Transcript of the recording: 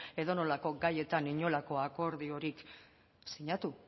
edonolako gaietan inolako akordirik sinatu